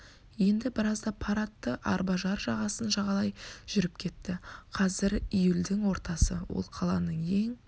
енді біразда пар атты арба жар жағасын жағалай жүріп кетті қазір июльдің ортасы ол қаланың ең